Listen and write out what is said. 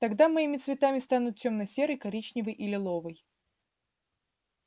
тогда моими цветами станут тёмно-серый коричневый и лиловый